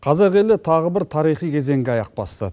қазақ елі тағы бір тарихи кезеңге аяқ басты